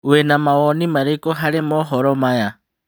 Wĩna mawoni marĩkũ harĩ mohoro maya ?